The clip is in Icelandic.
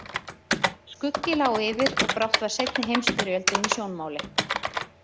Skuggi lá yfir og brátt var seinni heimsstyrjöldin í sjónmáli.